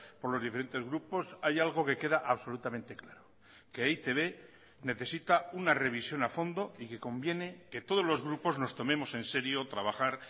por los diferentes grupos hay algo que queda absolutamente claro que e i te be necesita una revisión a fondo y que conviene que todos los grupos nos tomemos en serio trabajar